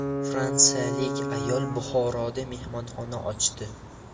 Fransiyalik ayol Buxoroda mehmonxona ochdi.